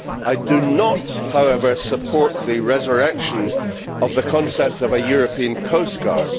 I do not, however, support the resurrection of the concept of a European coastguard.